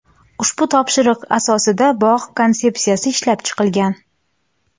Ushbu topshiriq asosida bog‘ konsepsiyasi ishlab chiqilgan.